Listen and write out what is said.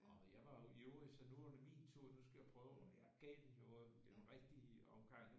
Og jeg var jo ivrig så nu var det min tur nu skal jeg prøve og jeg gav den jo en rigtig omgang